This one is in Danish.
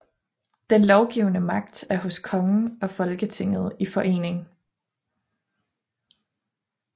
Den lovgivende magt er hos kongen og Folketinget i forening